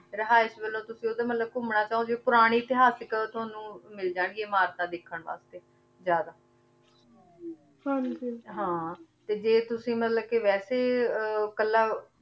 ਰਹਾਇਸ਼ ਵਲੋਂ ਤੁਸੀਂ ਓਥੇ ਮਤਲਬ ਘੂਮਨਾ ਚਾਹੋ ਤੇ ਪੁਰਾਨੀ ਇਤਿਹਾਸਿਕ ਤੁਹਾਨੂ ਮਿਲ ਜਾਂ ਗਿਯਾਂ ਅਮਰਤਾਂ ਦੇਖਣ ਵਾਸਤੇ ਜ਼ਾਯਦਾ ਹਾਂਜੀ ਹਾਂ ਤੇ ਜੇ ਤੁਸੀਂ ਮਤਲਬ ਕੇ ਵੇਸੇ ਕਲਾ